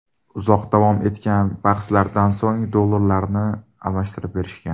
Uzoq davom etgan bahslardan so‘ng, dollarlarni almashtirib berishgan.